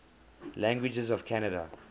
languages of canada